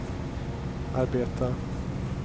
arbeta